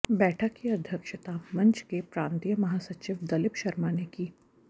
बैठक की अध्यक्षता मंच के प्रांतीय महासचिव दलीप शर्मा ने की